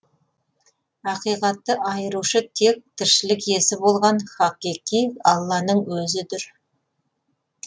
ақиқатты айырушы тек тіршілік иесі болған хақиқи алланың өзі дүр